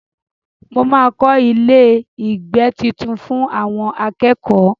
Mo máa kọ ilé-ìgbé tuntun fún àwọn akẹ́kọ̀ọ́.